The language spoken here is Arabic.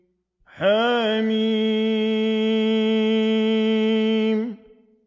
حم